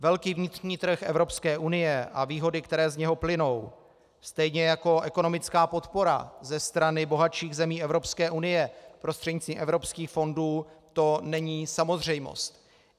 Velký vnitřní trh Evropské unie a výhody, které z něho plynou, stejně jako ekonomická podpora ze strany bohatších zemí Evropské unie prostřednictvím evropských fondů, to není samozřejmost.